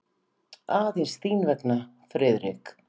Aðeins þín vegna, Friðrik.